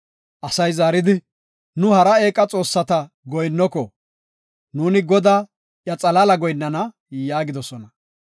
Asay zaaridi, “Nu hara eeqa xoossata goyinnoko; nuuni Godaa, iya xalaala goyinnana” yaagis.